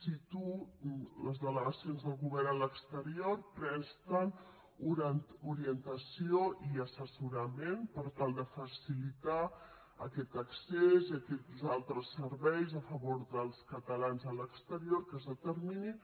cito les delegacions del govern a l’exterior presten orientació i assessorament per tal de facilitar aquest accés i aquests altres serveis a favor dels catalans a l’exterior que es determinin